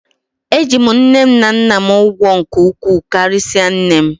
Eji m nne na nna m ụgwọ nke ukwuu karịsịa nne m.